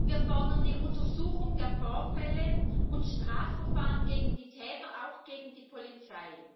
Wir fordern eine Untersuchung der Vorfälle und Strafverfahren gegen die Täter, auch gegen die Polizei.